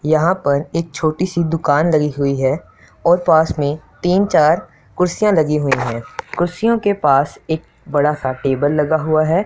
यहाँ पर एक छोटी सी दुकान डली हुई हैं और पास में तीन चार कुर्सियाँ लगी हुई हैं कुर्सियों के पास एक बड़ा सा टेबल लगा हुआ हैं।